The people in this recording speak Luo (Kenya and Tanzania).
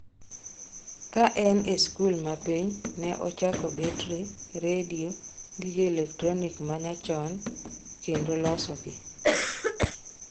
Kane en e sikul ma piny, ne ochoko betri, redio, gige elektronik ma nyachon kendo loso gi.